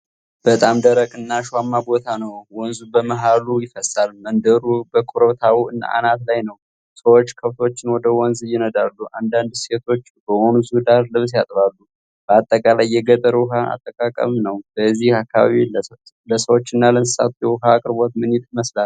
በጣም ደረቅና አሸዋማ ቦታ ነው። ወንዝ በመሃሉ ይፈሳል። መንደሩ በኮረብታው አናት ላይ ነው። ሰዎች ከብቶችን ወደ ወንዝ ይነዳሉ። አንዳንድ ሴቶች በወንዙ ዳር ልብስ ያጥባሉ። በአጠቃላይ የገጠር ውኃ አጠቃቀም ነው። በዚህ አካባቢ ለሰዎችና ለእንስሳት የውኃ አቅርቦት ምን ይመስላል?